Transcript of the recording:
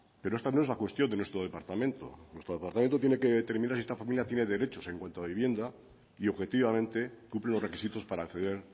pero esta no es la cuestión de nuestro departamento nuestro departamento tiene que determinar si esta familia tiene derechos en cuanto a vivienda y objetivamente cumple los requisitos para acceder